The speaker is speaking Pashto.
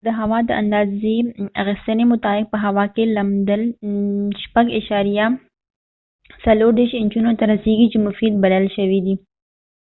د هوا په د اندازی اخیستنی مطابق په هوا کې لمدبل 6.34 انچونو ته رسیږی چې مفید بلل شوي دي